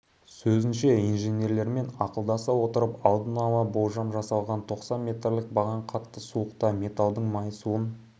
сөзінше инженерлермен ақылдаса отырып алдын ала болжам жасалған тоқсан метрлік баған қатты суықта металдың майысуын